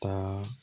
Taa